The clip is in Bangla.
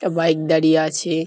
এ বাইক দাঁড়িয়ে আছে।